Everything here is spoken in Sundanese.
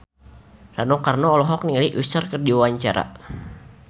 Rano Karno olohok ningali Usher keur diwawancara